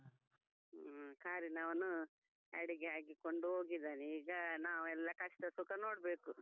ಹ್ಮ್, ಕಾರಿನವನು ಅಡಿಗೆ ಹಾಕಿಕೊಂಡು ಹೋಗಿದಾನೆ ಈಗ ನಾವೆಲ್ಲಾ ಕಷ್ಟ ಸುಖ ನೋಡ್ಬೇಕು.